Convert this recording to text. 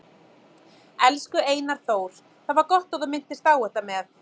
Elsku Einar Þór, það var gott að þú minntist á þetta með